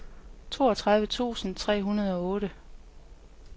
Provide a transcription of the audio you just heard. toogtredive tusind tre hundrede og otte